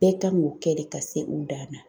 Bɛɛ kan k'o kɛ de ka se u dan na.